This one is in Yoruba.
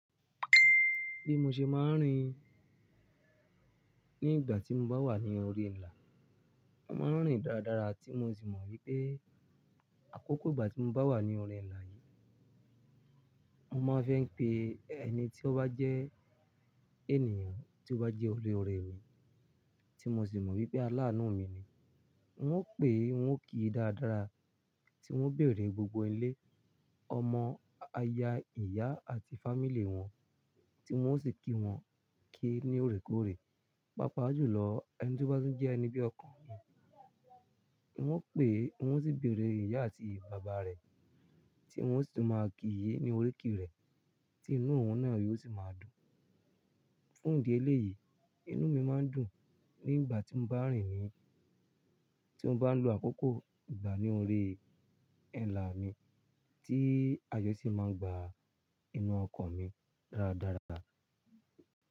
Bí mo ṣe máa ń rìn,,,, nígbà tí mo bá wà ní orí ilà, mo máa ń rìn dáradára tí mo sì mọ̀ wípé àkókò ìgbà tí mo bá wà ní orí ilà yìí, mo máa fẹ́ ń pe ẹni tí ó bá jẹ́ ènìyàn tí ó bá jẹ́ olóorẹ́ mi tí mo sì mọ̀ wípé aláàánú mi ni. Wọn ó pè, wón kí dáradára tí wón ń bèèrè gbogbo ilé, ọmọ, aya, ìyá àti fámílí wọn tí wón o sì kí wọn kí ní òrékòórè. Pápá jù lọ, ẹni tí ó bá tún jẹ́ ẹni bí ọkan mi. Wọ́n pè, wọ́n sì bèèrè ìyá àti bàbá rẹ̀ tí wọ́n sì máa kí i ní oríkì rẹ̀ tí inú òun náà yóò sì máa dùn. Fún ìdí eléyìí, inú mi máa ń dùn nígbà tí mo bá ń rìn ni, tí mo bá ń lo àkókò ìgbà ní orí ilà mi tí àyo si máa ń gba inú ọkàn mi dáradára.